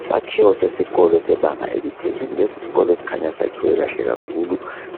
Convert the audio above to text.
Isakhiwo sesikolo sebanga eliphezulu lesisikolo sikhanya siyakhwe kahle kakhulu